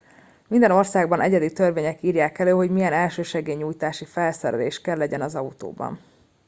minden országban egyedi törvények írják elő hogy milyen elsősegély nyújtási felszerelés kell legyen az autóban